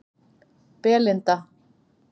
Belinda